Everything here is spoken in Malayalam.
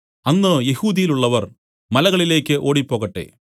അന്ന് യെഹൂദ്യയിലുള്ളവർ മലകളിലേക്ക് ഓടിപ്പോകട്ടെ